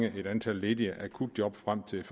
et antal ledige akutjob frem til